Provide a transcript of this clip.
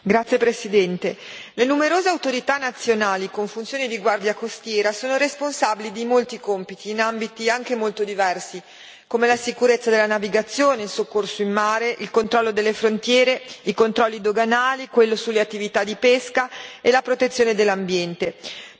Signora Presidente, onorevoli colleghi, le numerose autorità nazionali, con funzioni di guardia costiera, sono responsabili di molti compiti, in ambiti anche molto diversi, come la sicurezza della navigazione, il soccorso in mare, il controllo delle frontiere, i controlli doganali, quello sulle attività di pesca e la protezione dell'ambiente.